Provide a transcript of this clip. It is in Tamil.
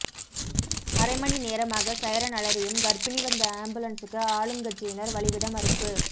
அரைமணி நேரமாக சைரன் அலறியும் கர்ப்பிணி வந்த ஆம்புலன்ஸ்சுக்கு ஆளுங்கட்சியினர் வழிவிட மறுப்பு